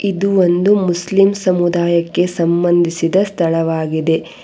ಇದು ಒಂದು ಮುಸ್ಲಿಂ ಸಮುದಾಯಕ್ಕೆ ಸಂಬಂಧಿಸಿದ ಒಂದು ಸ್ಥಳವಾಗಿದೆ.